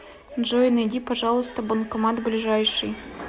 джой найди пожалуйста банкомат ближайший